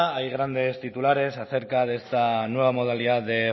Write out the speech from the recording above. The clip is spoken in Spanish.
hay grandes titulares acerca de esta nueva modalidad de